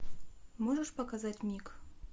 можешь показать мик